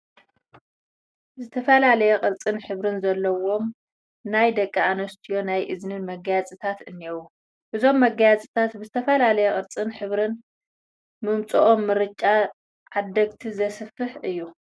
ዝተፈላለየ ቅርፅን ሕብርን ዘለዎም ናይ ደቂ ኣነስትዮ ናይ እዝኒ መጋየፅታት እኔዉ፡፡ እዞም መጋየፅታት ብዝተፈላለየ ቅርፅን ሕብርን ምምፅኦም ምርጫ ዓደግቲ ዘስፍሕ እዩ፡፡